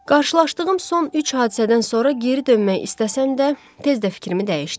Qarşılaşdığım son üç hadisədən sonra geri dönmək istəsəm də, tez də fikrimi dəyişdim.